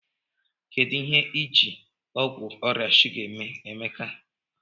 Kedu ihe ịji ọgwụ ọrịa shuga eme, Emeka?